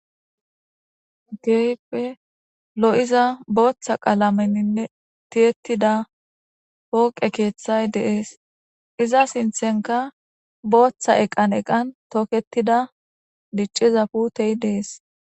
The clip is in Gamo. Geype lo,iza booththa qalameninne tiyettida pooqe keeththay deees iza sinthenka booththa eqan eqan tooketida dicciza putey dees.